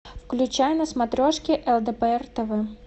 включай на смотрешке лдпр тв